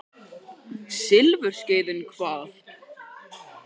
Silfurskeiðin hvað?